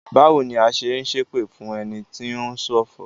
Báwo ni a ṣe n ṣipẹ̀ fún ẹni tí o ń ṣọ̀fọ̀?